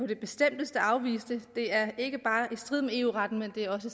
det bestemteste afvise det det er ikke bare i strid med eu retten